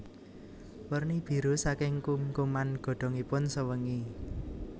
Werni biru saking kumkuman godhongipun sewengi